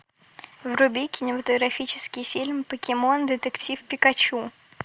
вруби кинематографический фильм покемон детектив пикачу